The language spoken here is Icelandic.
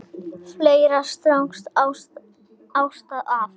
Fleiri strákar þyrpast að.